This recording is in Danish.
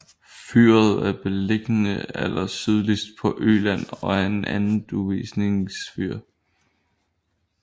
Fyret er beliggende allersydligst på Øland og er et anduvningsfyr